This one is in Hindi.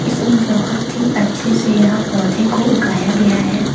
इसमें बहोत ही अच्छे से यहां पौधे को उगाया गया है।